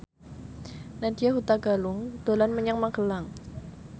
Nadya Hutagalung dolan menyang Magelang